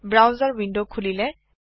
browser window খুলিলে